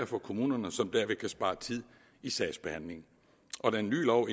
for kommunerne som derved kan spare tid i sagsbehandlingen den nye lov